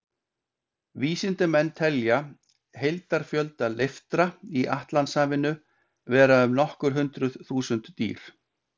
Vísindamenn telja heildarfjölda leiftra í Atlantshafinu vera um nokkur hundruð þúsund dýr.